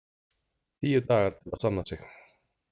Tíu dagar til að sanna sig